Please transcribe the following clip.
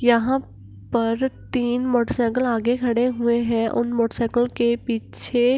यहां पर तीन मोटर साइकल आगे खड़े हुए हैं उन मोटर साइकल के पीछे --